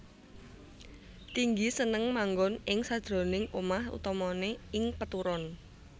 Tinggi seneng manggoN ing sakjeroning omah utamané ing peturon